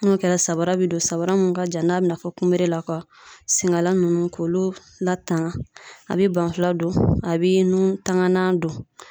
N'o kɛra samara be don sabara mun ka jan n'a bina na fɔ kunberela ka sengala ninnu k'olu latan a be ban fila don a be nun tanganan don